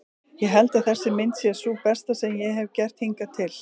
Ég held að þessi mynd sé sú besta sem ég hefi gert hingað til.